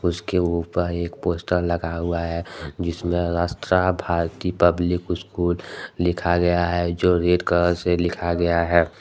उसके ऊपर एक पोस्टर लगा हुआ है जिसमें राष्ट्रा भारती पब्लिक स्कूल लिखा गया है जो रेड कलर से लिखा गया है।